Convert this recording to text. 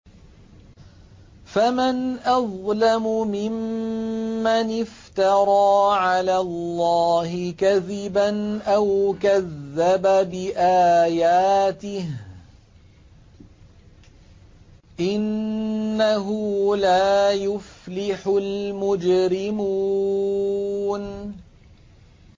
فَمَنْ أَظْلَمُ مِمَّنِ افْتَرَىٰ عَلَى اللَّهِ كَذِبًا أَوْ كَذَّبَ بِآيَاتِهِ ۚ إِنَّهُ لَا يُفْلِحُ الْمُجْرِمُونَ